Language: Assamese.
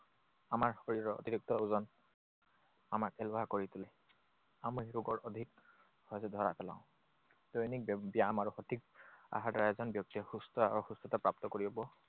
আমাৰ শৰীৰৰ অতিৰিক্ত ওজন আমাক এলেহুৱা কৰি তোলে। আমাৰ অধিক হৈছে ধৰা পেলাও। দৈনিক ব্যায়াম আৰু সঠিক আহাৰৰ দ্বাৰা এজন ব্যক্তিয়ে সুস্থ আৰু সুস্থতা প্ৰাপ্ত কৰিব